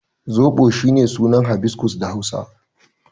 Zoɓo is shine sunan hibiscus da Hausa.